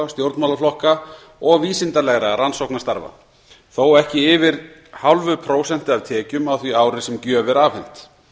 stjórnmálaflokka og vísindalegra rannsóknarstarfa þó ekki yfir núll fimm prósent af tekjum á því ári sem gjöf er afhent